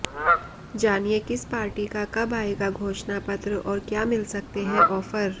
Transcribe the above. जानिए किस पार्टी का कब आएगा घोषणा पत्र और क्या मिल सकते हैं ऑफर